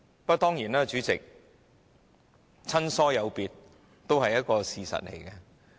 不過，主席，親疏有別，當然也是一個事實。